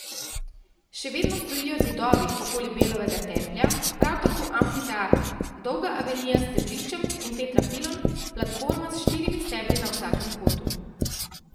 Še vedno stojijo zidovi okoli Belovega templja, prav tako amfiteater, dolga avenija s stebriščem in tetrapilon, platforma s štirimi stebri na vsakem kotu.